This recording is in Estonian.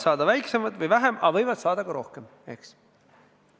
Jaa, inimesed võivad saada vähem, aga võivad saada ka rohkem, eks.